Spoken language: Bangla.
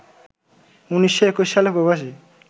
১৯২১ সালে প্রবাসী